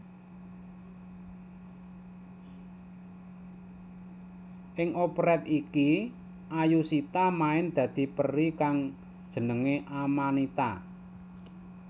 Ing operet iki Ayushita main dadi peri kang jenengé Amanita